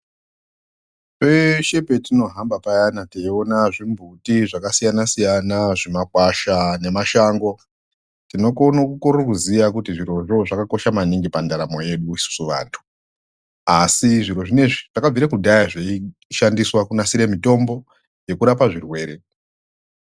Peshe petinohamba payana teione zvimbuti, zvimakakwasha nemashango tinokone kukorere kuziya kuti zvirozvo zvakakosha maningi pandaramo yedu isusu vantu asi zviro zvinezvi zvakabvire kudhaya zveishandiswa kunasire mitombo yekurapa zvirwere.